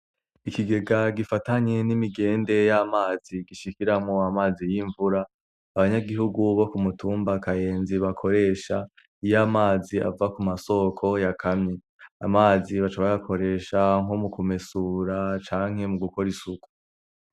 Ikigega gifatanye n'imigende y'amazi gishikiramwo amazi y'imvura abanyagihugu bo kumutumba kayenzi bakoresha iy'amazi ava ku masoko yakamye. Amazi baca bayakoresha nko mukumesura canke mu gukora isuku.